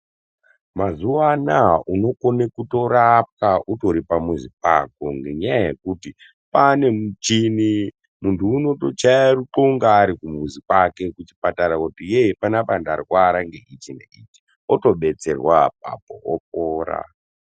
Mazuwa anaa unokone kutorwapwa utori pamuzi pako ngenyaya yekuti pane michini muntu unotochaye rukunga ari kumuzi kwake kuchipatara kuti yee panapa ndarwara ngeichi neichi otobetserwa apapo opora.